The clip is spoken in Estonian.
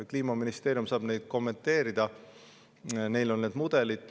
Kliimaministeerium saab neid kommenteerida, neil on need mudelid.